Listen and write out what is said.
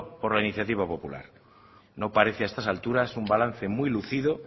por iniciativa popular no parece a estas alturas un balance muy lúcido